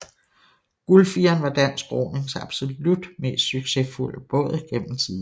Guldfireren var dansk ronings absolut mest succesfulde båd gennem tiderne